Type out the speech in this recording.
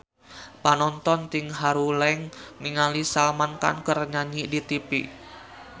Panonton ting haruleng ningali Salman Khan keur nyanyi di tipi